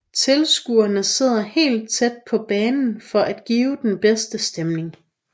Tilskuerne sidder helt tæt på banen for at give den bedste stemning